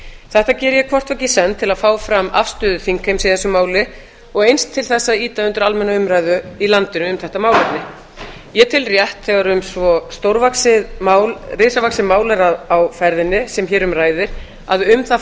þetta geri ég hvort tveggja í senn til að fá fram afstöðu þingheims í þessu máli og eins til að ýta undir almenna umræðu í landinu um þetta málefni ég tel rétt þegar svo risavaxið mál er á ferðinni sem hér um ræðir að um það